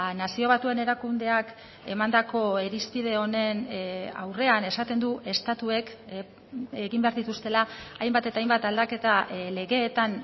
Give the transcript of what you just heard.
nazio batuen erakundeak emandako irizpide honen aurrean esaten du estatuek egin behar dituztela hainbat eta hainbat aldaketa legeetan